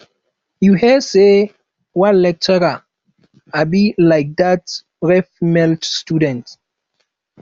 you hear say one lecturer um like dat rape female student